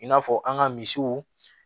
I n'a fɔ an ka misiw